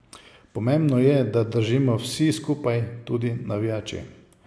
Pomembno je, da držimo vsi skupaj, tudi navijači.